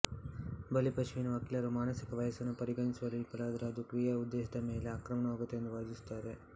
ಬಲಿಪಶುವಿನ ವಕೀಲರು ಮಾನಸಿಕ ವಯಸ್ಸನ್ನು ಪರಿಗಣಿಸುವಲ್ಲಿ ವಿಫಲವಾದರೆ ಅದು ಕ್ರಿಯೆಯ ಉದ್ದೇಶದ ಮೇಲೆ ಆಕ್ರಮಣವಾಗುತ್ತದೆ ಎಂದು ವಾದಿಸುತ್ತಾರೆ